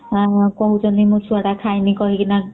...କହୁଛନ୍ତି ମୋ ଛୁଆ ଟା ଖାଇନି କହିକି ନା